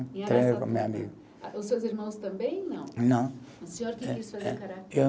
Em Araçatuba. Os seus irmãos também não? Não. O senhor que quis fazer karatê